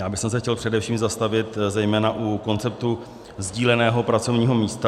Já bych se chtěl především zastavit zejména u konceptu sdíleného pracovního místa.